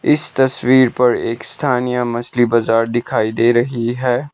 इस तस्वीर पर एक स्थानीय मछली बजार दिखाई दे रही है।